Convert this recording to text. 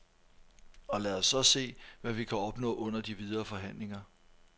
Og lad os så se, hvad vi kan opnå under de videre forhandlinger.